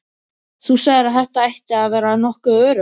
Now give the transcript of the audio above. Þú sagðir að þetta ætti að vera nokkuð öruggt.